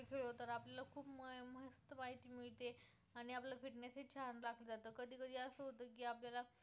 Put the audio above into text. आपल्याला